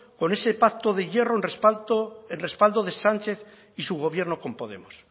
con ese pacto de hierro en respaldo de sánchez y su gobierno con podemos